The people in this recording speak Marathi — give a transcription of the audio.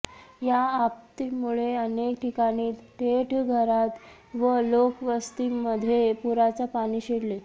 या आपत्तीमुळे अनेक ठिकाणी थेट घरात व लोकवस्तीमध्ये पुराचे पाणी शिरले